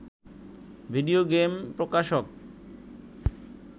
video game প্রকাশক